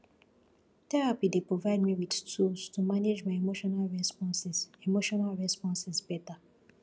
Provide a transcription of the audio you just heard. therapy dey provide me with tools to manage my emotional responses emotional responses better